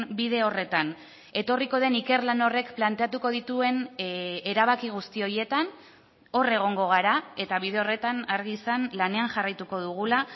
bide horretan etorriko den ikerlan horrek planteatuko dituen erabaki guzti horietan hor egongo gara eta bide horretan argi izan lanean jarraituko dugula